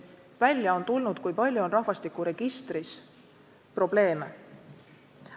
Välja on tulnud, kui palju on rahvastikuregistris probleeme.